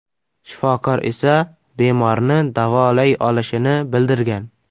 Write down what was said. Shifokor esa bemorni davolay olishini bildirgan.